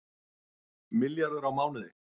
Milljarður á mánuði